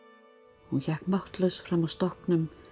hún hékk máttlaus fram af stokknum